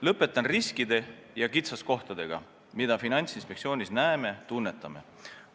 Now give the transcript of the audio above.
Lõpetan riskide ja kitsaskohtadega, mida me Finantsinspektsioonis näeme ja tunnetame.